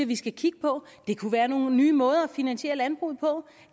vi skal kigge på der kunne være nogle nye måder at finansiere landbruget på